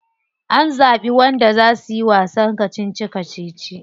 An zabi wanda za suyi kacici kacici?